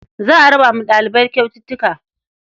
Za a raba wa ɗalibai kyaututtuka.